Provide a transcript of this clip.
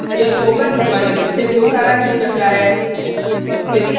यह spoken tutorial project को सारांशित करता है